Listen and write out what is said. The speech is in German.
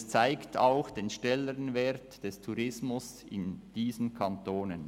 Es zeigt auch den Stellenwert des Tourismus in diesen Kantonen.